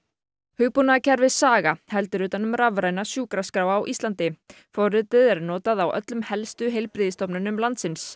hugbúnaðarkerfið Saga heldur utan um rafræna sjúkraskrá á Íslandi forritið er notað á öllum helstu heilbrigðisstofnunum landsins